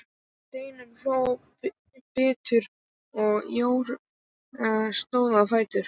Steinunn hló biturt og Jóra stóð á fætur.